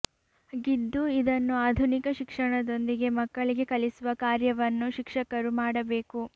ಗಿದ್ದು ಇದನ್ನು ಆಧುನಿಕ ಶಿಕ್ಷಣ ದೊಂದಿಗೆ ಮಕ್ಕಳಿಗೆ ಕಲಿಸುವ ಕಾರ್ಯವನ್ನು ಶಿಕ್ಷಕರು ಮಾಡಬೇಕು